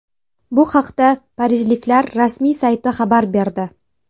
Bu haqda parijliklar rasmiy sayti xabar berdi .